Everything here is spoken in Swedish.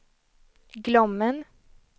Glommen